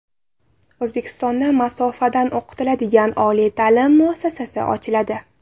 O‘zbekistonda masofadan o‘qitiladigan oliy ta’lim muassasasi ochiladi.